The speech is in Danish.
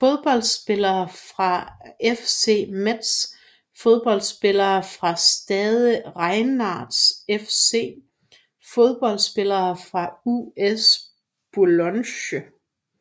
Fodboldspillere fra FC Metz Fodboldspillere fra Stade Rennais FC Fodboldspillere fra US Boulogne